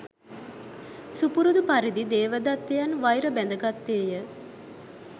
සුපුරුදු පරිදි දේවදත්තයන් වෛර බැඳගත්තේ ය.